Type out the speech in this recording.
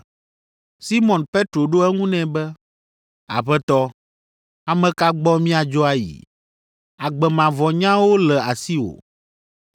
Simɔn Petro ɖo eŋu nɛ be, “Aƒetɔ, ame ka gbɔ míadzo ayi? Agbe mavɔ nyawo le asiwò.